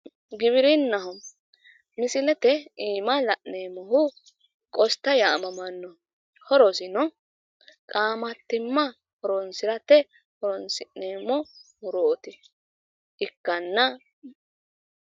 giwirinnaho misilete iima la'neemmohu qosta yaamamanno horosino qaamattimma horonsirate horonsi'neemmo muro ikkanna ..